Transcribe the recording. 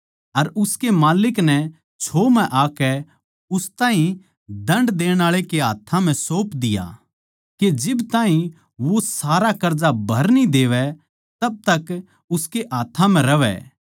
अर उसकै माल्लिक नै छोह् म्ह आकै उस ताहीं दण्ड देणआळे के हाथ्थां म्ह सौप दिया के जिब ताहीं वो सारा कर्जा भर न्ही देवै जिद ताहीं उनकै हाथ्थां म्ह रहवै